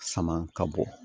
Sama ka bɔ